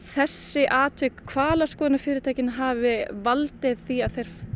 þessi atvik hvalaskoðunarfyrirtækjanna hafi valdið því að